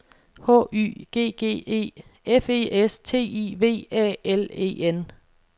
H Y G G E F E S T I V A L E N